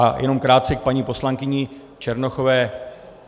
A jenom krátce k paní poslankyni Černochové.